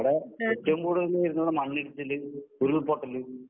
അവടെ ഏറ്റവും കൂടുതൽ വരുന്നത് മണ്ണിടിച്ചില് ഉരുൾപൊട്ടല്